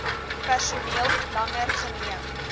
personeel langer geneem